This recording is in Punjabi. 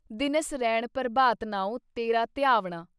ਦਿਨਸ ਰੈਣ ਪ੍ਰਭਾਤ ਨਾਉਂ ਤੇਰਾ ਧਿਆਵਣਾ।"